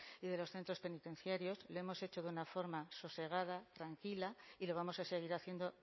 y de los centros penitenciarios lo hemos hecho de una forma sosegada tranquila y lo vamos a seguir haciendo